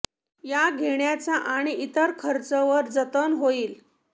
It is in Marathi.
या घेण्याचा आणि इतर खर्च वर जतन होईल